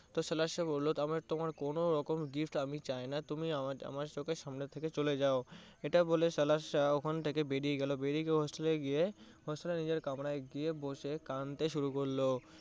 তো সাহেব বললো তোমার কোনো রকম gift আমি চাইনা। তুমি আমার চোখের সামনে থেকে চলে যাও। এটা বলে সাহেব ওখান থেকে বেরিয়ে গেলো, বেরিয়ে গিয়ে hostel এ গিয়ে hostel এ নিজের কামরায় গিয়ে বসে কাঁদতে শুরু করলো।